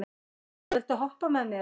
Matthea, viltu hoppa með mér?